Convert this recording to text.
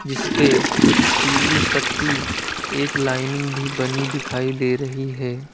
जिस ले पीली पट्टी एक लाइनिंग भी बनी दिखाई दे रही है।